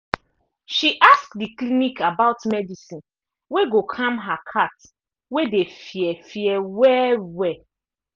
she ask the clinic about medicine wey go calm her cat wey dey fear fear well well